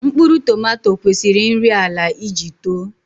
Mkpụrụ tomato kwesiri nri ala iji too